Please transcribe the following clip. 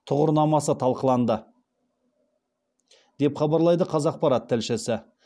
тұғырнамасы талқыланды деп хабарлайды қазақпарат тілшісі